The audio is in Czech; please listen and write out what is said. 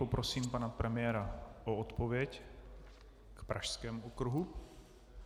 Poprosím pana premiéra o odpověď k Pražskému okruhu.